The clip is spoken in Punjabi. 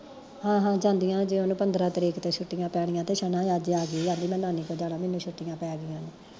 ਹਾਂ ਹਾਂ ਜਾਂਦੀਆ ਅਜੇ ਉਹਨੂੰ ਪੰਦਰਾਂ ਤਰੀਕ ਤੋਂ ਛੁੱਟੀਆ ਪੈਨੀਆ ਤੇ ਛਨਾ ਅੱਜ ਆ ਗਈ ਕਹਿੰਦੇ ਮੈਂ ਨਾਨੀ ਕੋਲ ਜਾਣਾ, ਮੈਨੂੰ ਛੁੱਟੀਆ ਪੈ ਗਈਆ ਐ